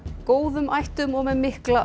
góðum ættum og með mikla